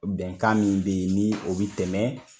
Bɛnkan min be ye ni o be tɛmɛ